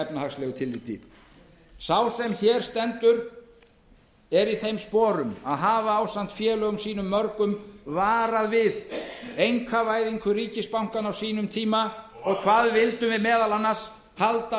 hans í efnahagsmálum sá sem hér stendur nú í þessum sporum varaði ásamt félögum mínum í vinstrirhreyfingunni grænu framboði við einkavæðingu allra ríkisbankanna á sínum tíma og vildum halda eftir